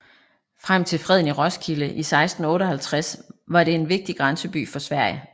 Frem til freden i Roskilde i 1658 var det en vigtig grænseby for Sverige